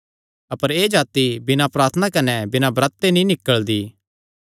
अपर एह़ जाति बिना प्रार्थना कने बिना ब्रत ते नीं निकल़दी